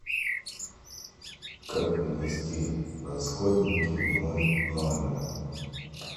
как принести расходники в мой номер